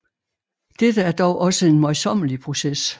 Dette er dog også en møjsommelig proces